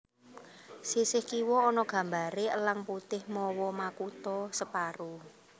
Sisih kiwa ana gambaré Elang Putih mawa makutha separo